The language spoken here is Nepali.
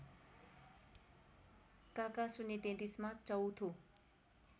काका ०३३ मा चौँथो